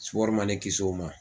man ne kisi o ma.